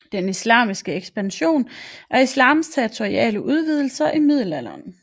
Den islamiske ekspansion er islams territoriale udvidelser i middelalderen